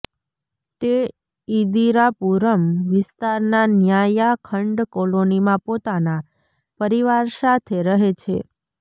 તે ઈદિરાપુરમ વિસ્તારના ન્યાયા ખંડ કોલોનીમાં પોતાના પરિવાર સાથે રહે છે